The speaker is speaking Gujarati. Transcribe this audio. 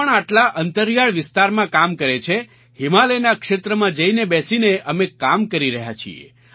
કોણ આટલા અંતરીયાળ વિસ્તારમાં કામ કરે છે હિમાલયના ક્ષેત્રમાં જઈને બેસીને અમે કામ કરી રહ્યા છીએ